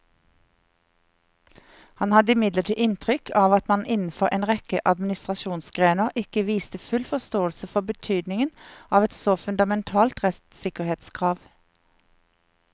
Han hadde imidlertid inntrykk av at man innenfor en rekke administrasjonsgrener ikke viste full forståelse for betydningen av et så fundamentalt rettssikkerhetskrav.